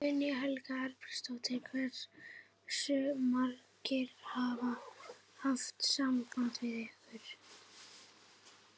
Guðný Helga Herbertsdóttir: Hversu margir hafa haft samband við ykkur?